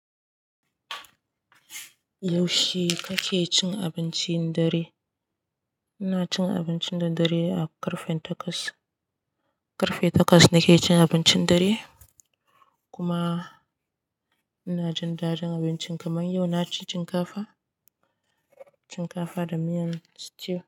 Yaushe kake cin abincin dare? Ina cin abincin na dare a ƙarfe takwas. Ƙarfe takwas nake cin abincin dare kuma ina jin daɗin abincin kamar yau na ci shinkafa, shinkafa da miyan stew.